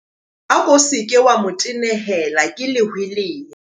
Ako se ke wa mo tenehela ke lehweleya.